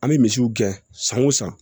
An bɛ misiw gɛn san wo san